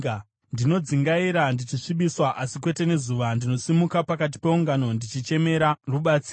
Ndinodzungaira ndichisvibiswa, asi kwete nezuva; ndinosimuka pakati peungano ndichichemera rubatsiro.